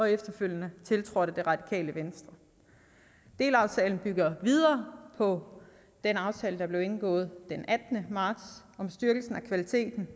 efterfølgende tiltrådt af det radikale venstre delaftalen bygger videre på den aftale der blev indgået den attende marts om styrkelsen af kvaliteten